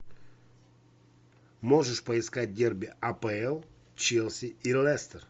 можешь поискать дерби апл челси и лестер